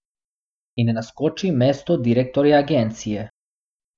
In naskoči mesto direktorja agencije!